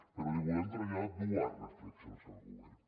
però li volem traslladar dues reflexions al govern